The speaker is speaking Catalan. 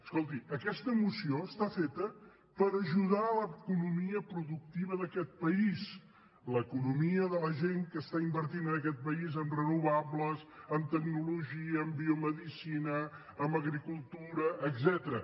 escolti aquesta moció està feta per ajudar l’economia productiva d’aquest país l’economia de la gent que està invertint en aquest país en renovables en tecnologia en biomedicina en agricultura etcètera